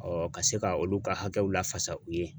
ka se ka olu ka hakɛw lafasa u ye